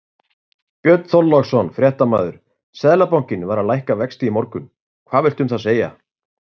Björn Þorláksson, fréttamaður: Seðlabankinn var að lækka vexti í morgunn, hvað villtu um það segja?